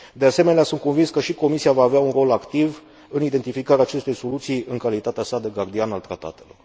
De asemenea, sunt convins că și Comisia va avea un rol activ în identificarea acestei soluții, în calitatea sa de gardian al tratatelor.